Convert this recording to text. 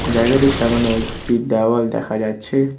জায়গাটির সামোনে একটি দেওয়াল দেখা যাচ্ছে।